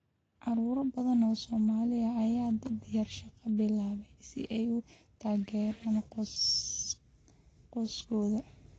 Carruur badan oo Soomaali ah ayaa da'da yar shaqada bilaabay si ay u taageeraan qoysaskooda.